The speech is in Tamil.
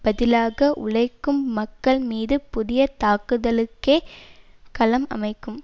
பதிலாக உழைக்கும் மக்கள் மீது புதிய தாக்குதல் ளுக்கே களம் அமைக்கும்